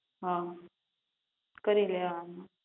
હા કરી લેવાનું